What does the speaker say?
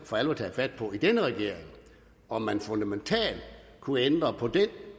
for alvor taget fat på om man fundamentalt kunne ændre på den